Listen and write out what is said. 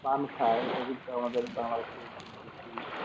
পান খাই এটা কিন্তু আমাদের Bangladesh খুব বেশি